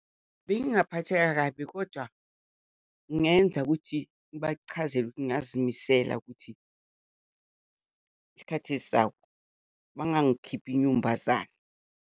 Bengingaphatheka kabi kodwa ngingenza ukuthi ngibachazele ukuthin ngingazimisela ukuthi isikhathi esizayo bangangikhiphi inyumbazane.